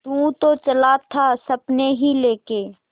तू तो चला था सपने ही लेके